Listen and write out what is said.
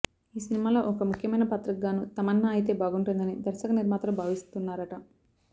ఈ సినిమాలో ఒక ముఖ్యమైన పాత్రకి గాను తమన్నా అయితే బాగుంటుందని దర్శక నిర్మాతలు భావిస్తున్నారట